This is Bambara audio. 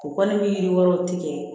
U kɔni ni yiri wɛrɛw tigɛ